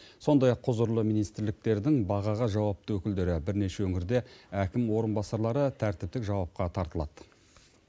сондай ақ құзырлы министрліктердің бағаға жауапты өкілдері бірнеше өңірде әкім орынбасарлары тәртіптік жауапқа тартылады